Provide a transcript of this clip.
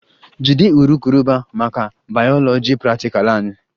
Jide urukurubụba maka bayoloji praktikal anyị!